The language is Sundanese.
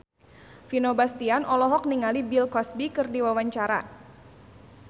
Vino Bastian olohok ningali Bill Cosby keur diwawancara